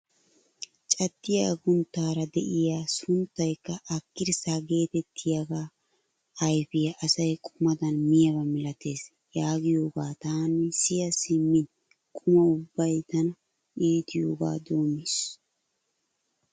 Caddiyaa agunttaara de'iyaa a sunttaykka akkirssaa getettiyaaga ayfiyaa asay qumadan miyaaba milatees yaagiyoogaa taani siya simmin quma ubbay tana iitiyooga doommiis!